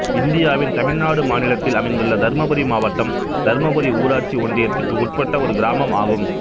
இந்தியாவின் தமிழ்நாடு மாநிலத்தில் அமைந்துள்ள தர்மபுரி மாவட்டம் தர்மபுாி ஊராட்சி ஒன்றியத்துக்கு உட்பட்ட ஒரு கிராமம் ஆகும்